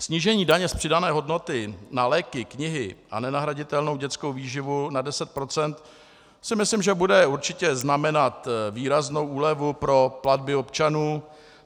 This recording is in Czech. Snížení daně z přidané hodnoty na léky, knihy a nenahraditelnou dětskou výživu na 10 % si myslím, že bude určitě znamenat výraznou úlevu pro platby občanů.